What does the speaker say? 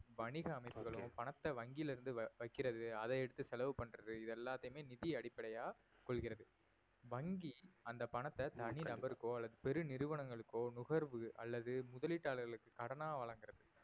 வணிக அமைப்புகளும் பணத்தை வங்கியில இருந்து வை~ வைக்கிறது அதையெடுத்து செலவு பண்றது இது எல்லாத்தையுமே நிதி அடிப்படையா கொள்கிறது வங்கி அந்த பணத்தை தனிநபருக்கோ அல்லது பெரு நிறுவனங்களுக்கோ நுகர்வு அல்லது முதலீட்டாளர்களுக்கு கடனா வழங்குகிறதுக்கு